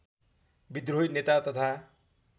विद्रोही नेता तथा